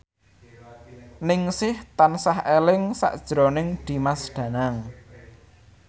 Ningsih tansah eling sakjroning Dimas Danang